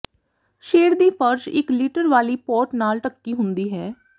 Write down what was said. shade ਦੀ ਫਰਸ਼ ਇਕ ਲਿਟਰ ਵਾਲੀ ਪੋਟ ਨਾਲ ਢੱਕੀ ਹੁੰਦੀ ਹੈ